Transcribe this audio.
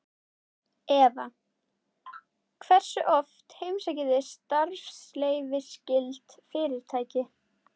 Eva: Hversu oft heimsækið þið starfsleyfisskyld fyrirtæki?